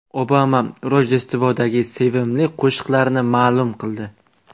Obama Rojdestvodagi sevimli qo‘shiqlarini ma’lum qildi.